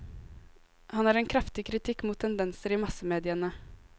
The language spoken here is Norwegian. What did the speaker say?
Han har en kraftig kritikk mot tendenser i massemediene.